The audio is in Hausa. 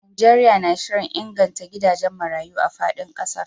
Najeriya na shirin inganta gidajen marayu a fadin kasar